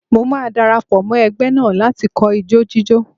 Mo máa dara pọ̀ mọ́ ẹgbẹ́ náà láti kọ́ ijó jíjó.